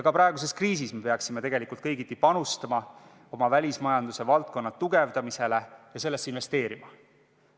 Ka praeguses kriisis me peaksime tegelikult kõigiti panustama oma välismajanduse valdkonna tugevdamisele ja sellesse investeerima.